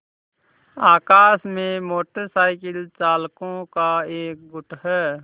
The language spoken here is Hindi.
आकाश में मोटर साइकिल चालकों का एक गुट है